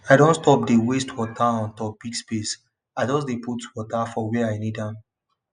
i don stop dey waste water on top big space i just dey put water for where i need am